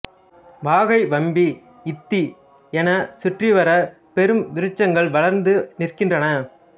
வாகை வம்மி இத்தி என சுற்றிவர பெருவிருச்சங்கள் வளர்ந்து நிற்கின்றன